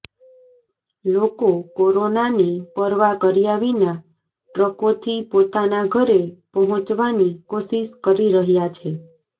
લોકો કોરોનાની પરવા કર્યા વિના ટ્રકોથી પોતાના ઘરે પહોંચવાની કોશિશ કરી રહ્યા છે